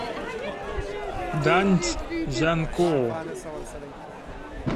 даньцзянкоу